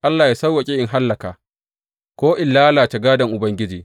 Allah yă sawwaƙe in hallaka, ko in lalace gādon Ubangiji.